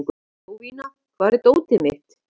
Jovina, hvar er dótið mitt?